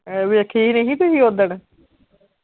ਵੇਖੀ ਨਹੀਂ ਸੀ ਤੁਸੀਂ ਓਦਨ।